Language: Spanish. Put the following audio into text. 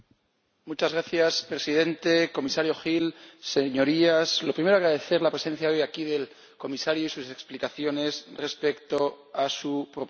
Señora Presidenta, Comisario Hill, Señorías, lo primero, agradecer la presencia hoy aquí del Comisario y sus explicaciones respecto a su propuesta.